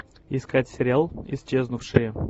искать сериал исчезнувшие